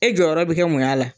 E jɔyɔrɔ bɛ kɛ mun y'a la